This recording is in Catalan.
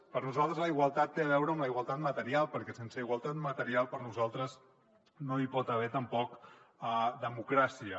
per nosaltres la igualtat té a veure amb la igualtat material perquè sense igualtat material per nosaltres no hi pot haver tampoc democràcia